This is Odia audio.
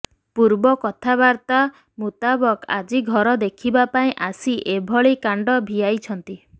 ପୂର୍ବ କଥାବର୍ତା ମୁତାବକ ଆଜି ଘର ଦେଖିବା ପାଇଁ ଆସି ଏଭଳି କାଣ୍ଡ ଭିଆଇଛନ୍ତି